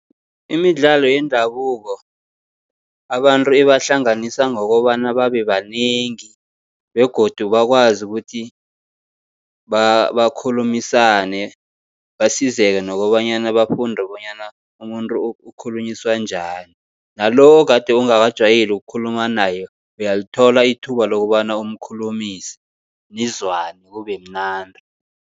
Imidlalo yendabuko, abantu ibahlanganisa ngokobana babe banengi begodu bakwazi ukuthi bakhulumisane. Basizeke nokobanyana bafunde bonyana umuntu ukhulunyiswa njani, nalo okade ungakajwayeli ukukhuluma naye, uyalithola ithuba lokobana umkhulumise, nizwane kube mnandi.